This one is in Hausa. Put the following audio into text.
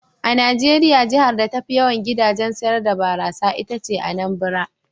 A Najeriya jihar da tafi yawan gidajen sayar da barasa ita ce Anambra.